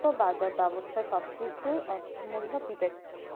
বাজার ব্যবস্থা সবকিছু অর্থমূর্ল বিবেকজ